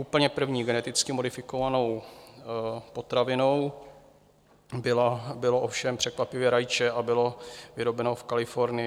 Úplně první geneticky modifikovanou potravinou bylo ovšem překvapivě rajče a bylo vyrobeno v Kalifornii.